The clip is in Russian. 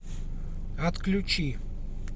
отключи